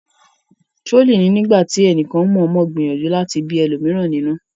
trolling ní nígbàtí ẹnìkan mọọmọ gbìyànjú láti bí ẹlòmíràn nínú